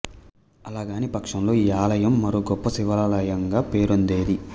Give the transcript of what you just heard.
అలా కానీ పక్షంలో ఈ ఆలయం మరో గొప్ప శివాలయంగా పేరొందేది